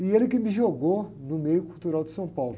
E ele que me jogou no meio cultural de São Paulo.